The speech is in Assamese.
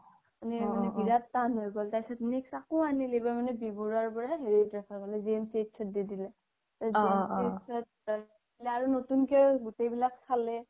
মানে বিৰাত তান হয় গ্'ল next আকৌ আনিলে এইবাৰ মানে বি বৰুৱা পৰা GMCH ত দি দিলে GMCH ত ৰাখিলে আৰু নতুন্কে চ'ব বিলাক চালে